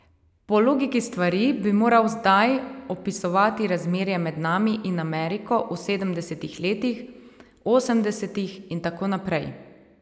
Po logiki stvari bi moral zdaj opisovati razmerje med nami in Ameriko v sedemdesetih letih, osemdesetih in tako naprej.